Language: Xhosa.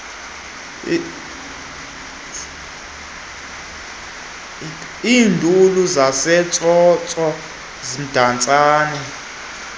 iinduli zasemtsotso emdantsane